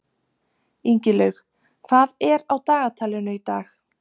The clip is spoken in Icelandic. Ingilaug, hvað er á dagatalinu í dag?